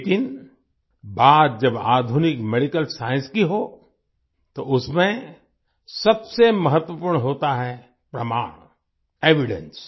लेकिन बात जब आधुनिक मेडिकल साइंस की हो तो उसमें सबसे महत्वपूर्ण होता है प्रमाण एविडेंस